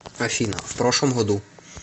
афина в прошлом году